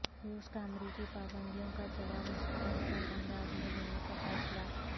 روس کا امریکی پابندیوں کا جواب مستحکم انداز میں دینے کا فیصلہ